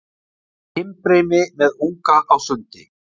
himbrimi með unga á sundi